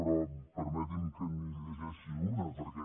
però permeti’m que li’n llegeixi una perquè